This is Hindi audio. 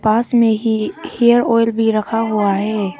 पास में ही हेयर ऑयल भी रखा हुआ है।